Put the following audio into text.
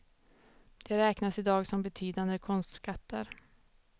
De räknas idag som betydande konstskatter.